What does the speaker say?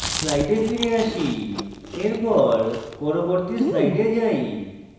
slides ফিরে আসি এখন পরবর্তী slides যাই